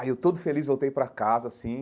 Aí, eu todo feliz, voltei pra casa, assim,